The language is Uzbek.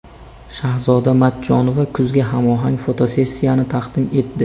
Shahzoda Matchonova kuzga hamohang fotosessiyani taqdim etdi .